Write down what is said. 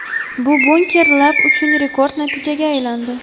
Bu Bunker Lab uchun rekord natijaga aylandi.